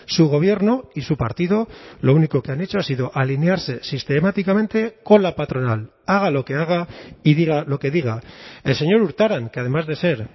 su gobierno y su partido lo único que han hecho ha sido alinearse sistemáticamente con la patronal haga lo que haga y diga lo que diga el señor urtaran que además de ser